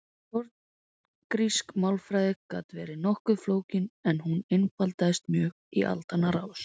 Forngrísk málfræði gat verið nokkuð flókin en hún einfaldaðist mjög í aldanna rás.